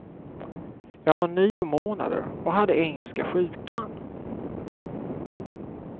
Jag var nio månader och hade engelska sjukan.